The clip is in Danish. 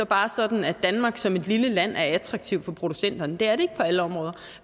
bare er sådan at danmark som et lille land er attraktiv for producenterne det er det ikke på alle områder